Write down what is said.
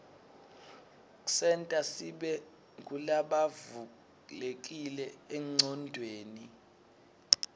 ksenta sibe ngulabavulekile enqcondweni